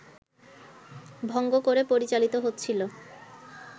ভঙ্গ করে পরিচালিত হচ্ছিল